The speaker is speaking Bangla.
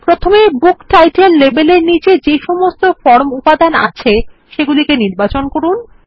প্রথমে বুক টাইটেল লেবেল এর নীচে যেসমস্ত ফর্ম উপাদান আছে সেগুলিকে নির্বাচন করুন